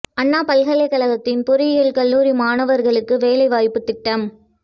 அண்ணா பல்கலைகழகத்தின் பொறியியல் கல்லூரி மாணவர்களுக்கு வேலை வாய்ப்பு திட்டம்